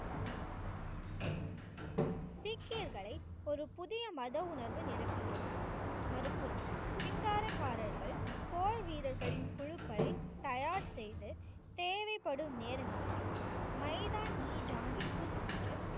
சீக்கியர்களை ஒரு புதிய மத உணர்வை நிரப்பியது. மறுபுறம் சிங்கார காரர்கள் போர் வீரர்களின் குழுக்களை தயார் செய்து தேவைப்படும் நேரங்களில் மைதான் நீ சாஹிப் சென்று.